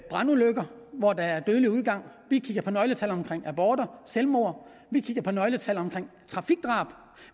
brandulykker hvor der er dødelig udgang vi kigger på nøgletal for aborter og selvmord vi kigger på nøgletal for trafikdrab